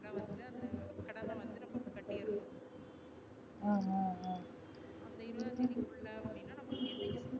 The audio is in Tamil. அந்த கடன் அ வந்து நம்ம கட்டிடனும் அந்த இருபதாம் தேதிக்குள்ள அப்டினா